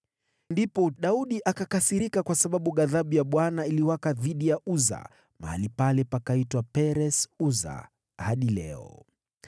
Ndipo Daudi akakasirika kwa sababu ghadhabu ya Bwana ilifurika dhidi ya Uza, mahali pale pakaitwa Peres-Uza hadi leo.